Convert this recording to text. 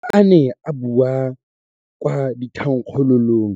Fa a ne a bua kwa thankgololong